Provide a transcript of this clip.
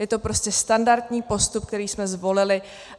Je to prostě standardní postup, který jsme zvolili.